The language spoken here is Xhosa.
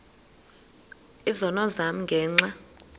izono zam ngenxa